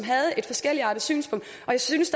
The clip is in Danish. har synspunkt og jeg synes